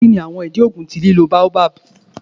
Kini awọn idi oogun ti lilo baobab?